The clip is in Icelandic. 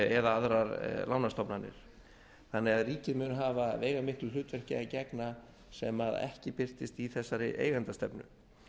eða aðrar lánastofnanir þannig að ríkið mun hafa veigamiklu hlutverki að gegna sem ekki birtist í þessari eigendastefnu